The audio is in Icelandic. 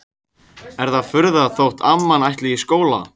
Er það furða þótt amman ætli í skóla?